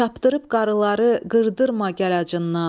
Çapdırıb qarıları qırdırma gələcəyindən.